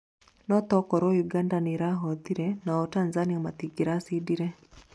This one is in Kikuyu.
no takorwo Uganda nĩĩrahotire nao tanzania matingiracindire